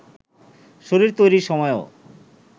শরীর তৈরির সময়ও